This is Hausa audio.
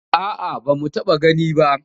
A'a ba mu taɓa gani ba.